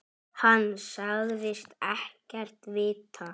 Hann sagðist ekkert vita.